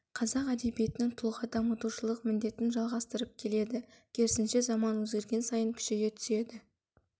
қазақ әдебиетінің тұлға дамытушылық міндетін жалғастырып келеді керісінше заман өзгерген сайын күшейе түседі